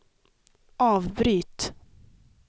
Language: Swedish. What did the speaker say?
avbryt